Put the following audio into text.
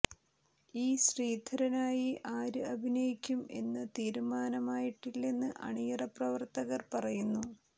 E ശ്രീധരനായി ആര് അഭിനയിക്കും എന്ന് തീരുമാനമായിട്ടില്ലെന്ന് അണിയറ പ്രവർത്തകർ പറയുന്നു